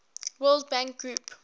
world bank group